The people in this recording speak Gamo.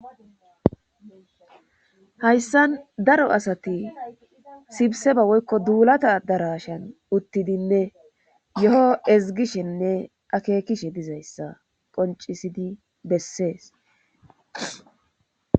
hayssan daro asati sibseba woykko duulata darashan uttidinne yo7o ezgishenne akeekishe dizayssa qoncisidi bessees